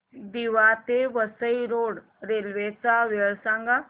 दिवा ते Vasai road railway च्या वेळा सांगा